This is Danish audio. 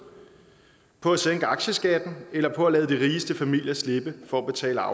på at sænke aktieskatten eller på at lade de rigeste familier slippe for at betale